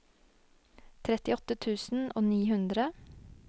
trettiåtte tusen og ni hundre